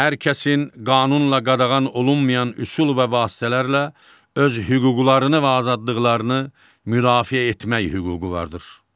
Hər kəsin qanunla qadağan olunmayan üsul və vasitələrlə öz hüquqlarını və azadlıqlarını müdafiə etmək hüququ vardır.